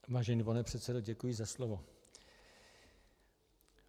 Vážený pane předsedo, děkuji za slovo.